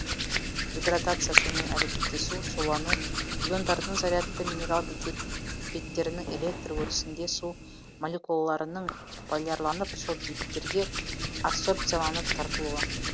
гидратация сумен әрекеттесу сулану иондардың зарядты минерал беттерінің электр өрісінде су молекулаларының полярланып сол беттерге адсорбцияланып тартылуы